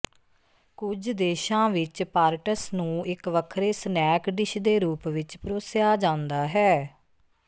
ਕੁਝ ਦੇਸ਼ਾਂ ਵਿਚ ਪਾਰਟਸ ਨੂੰ ਇਕ ਵੱਖਰੇ ਸਨੈਕ ਡਿਸ਼ ਦੇ ਰੂਪ ਵਿਚ ਪਰੋਸਿਆ ਜਾਂਦਾ ਹੈ